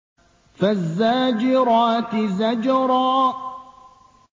فَالزَّاجِرَاتِ زَجْرًا